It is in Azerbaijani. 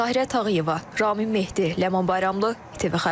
Tahirə Tağıyeva, Ramin Mehdi, Ləman Bayramlı, TV xəbər.